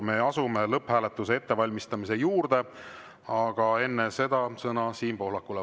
Me asume lõpphääletuse ettevalmistamise juurde, aga enne seda sõna Siim Pohlakule.